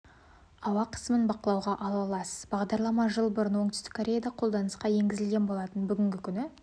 ауа қысымын бақылауға ала аласыз бағдарлама жыл бұрын оңтүстік кореяда қолданысқа енгізілген болатын бүгінгі күні